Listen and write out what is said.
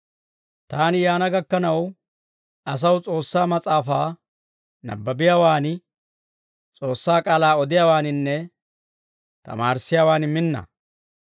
Taani yaana gakkanaw asaw S'oossaa mas'aafaa nabbabiyaawaani, S'oossaa k'aalaa odiyaawaaninne tamaarissiyaawaan minna.